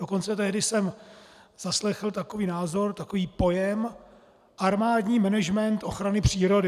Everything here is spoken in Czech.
Dokonce tehdy jsem zaslechl takový názor, takový pojem - armádní management ochrany přírody.